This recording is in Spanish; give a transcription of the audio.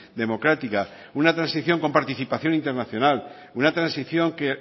democrática una transición con participación internacional una transición que